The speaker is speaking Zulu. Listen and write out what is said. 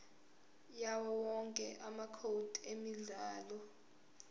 yawowonke amacode emidlalo